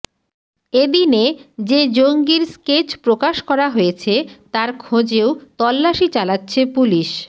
এদিনে যে জঙ্গির স্কেচ প্রকাশ করা হয়েছে তার খোঁজেও তল্লাশি চালাচ্ছে পুলিশ